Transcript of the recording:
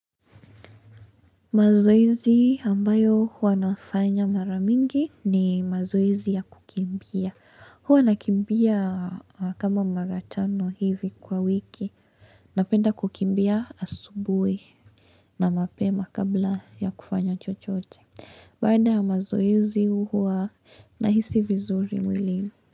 Mazoezi ambayo huwa nafanya maramingi ni mazoezi ya kukimbia. Huwa nakimbia kama maratano hivi kwa wiki. Napenda kukimbia asubuhi na mapema kabla ya kufanya chochote. Baada ya mazoezi huwa nahisi vizuri mwili.